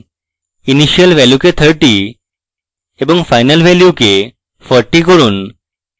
initial value কে 30 এবং final value কে 40 করুন